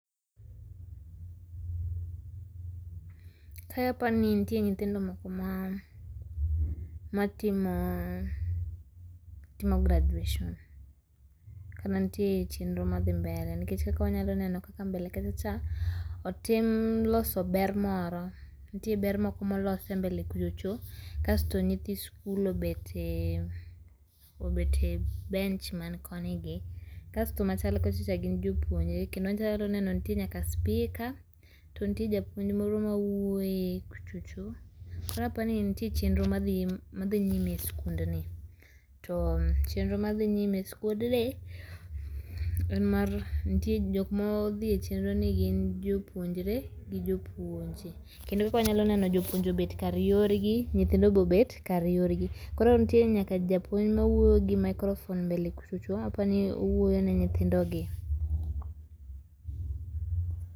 Kae apani nitie nyithindo moko ma, ma timo graduation kata nitie chenro madhi mbele nikech kaka wanyalo neno kaka mbele kacha cha otim loso ber moro, nitie ber moko molos mbele kuchocho kasto nyithi skul obet e ,obet e bench man koni gi kasto machal kocha cha gin jopuonje kendo wanyalo neno nitie nyaka spika to nitie japuonj moro mawuoye kuchocho koro aparo ni nitie chenro moro madhi nyime e skund ni. To chenro madhi nyime e skund ni en mar, nitie jokma odhie chenro ni gin jopuonjre gi jopuonje kendo kaka wanyalo neno jopuonje obedo kar yorgi nyithindo bende obet kar yorgi koro nitie nyaka japuonj mawuoyo gi microphone mbele kuchocho apani owuoyo ne nyithindo gi